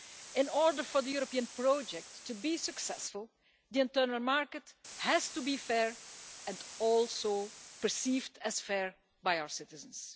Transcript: In order for the European project to be successful, the internal market has to be fair and also perceived as fair by our citizens.